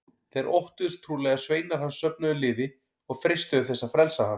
Þeir óttuðust trúlega að sveinar hans söfnuðu liði og freistuðu þess að frelsa hann.